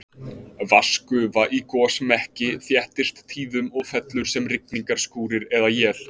Vatnsgufa í gosmekki þéttist tíðum og fellur sem rigningarskúrir eða él.